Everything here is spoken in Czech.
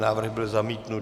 Návrh byl zamítnut.